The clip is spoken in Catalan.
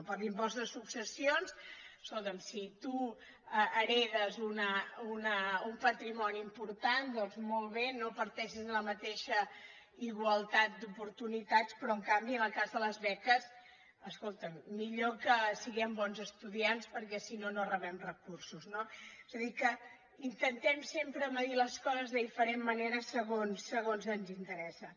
per a l’impost de successions escolta’m si tu heretes un patrimoni important doncs molt bé no parteixes de la mateixa igualtat d’oportunitats però en canvi en el cas de les beques escolta’m millor que siguem bons estudiants perquè si no no rebem recursos no és a dir que intentem sempre mesurar les coses de diferent manera segons ens interessa